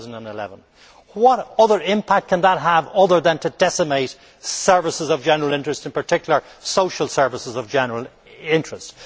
2011. What other impact can that have than to decimate services of general interest, and in particular social services of general interest?